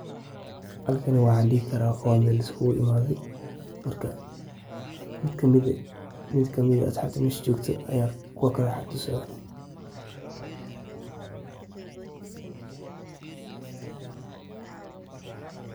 Halkani waxaan dihi karaa qola iskuul imaadhey. Midkamid ah asxaabta mesha joogta aya kuwa kale wax tusaaya.